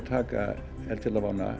taka